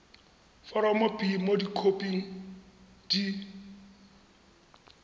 foromo b mo dikhoping di